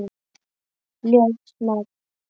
Ljótt nafn.